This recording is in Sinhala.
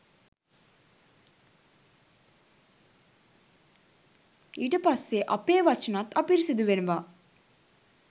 ඊට පස්සේ අපේ වචනත් අපිරිසිදු වෙනවා.